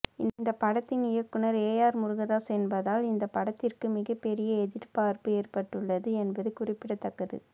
இந்த படத்தின் இயக்குனர் ஏஆர் முருகதாஸ் என்பதால் இந்த படத்திற்கு மிகப்பெரிய எதிர்பார்ப்பு ஏற்பட்டுள்ளது என்பது குறிப்பிடத்தக்கது